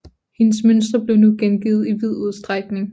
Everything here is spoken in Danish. Hendes mønstre blev nu gengivet i vid udstrækning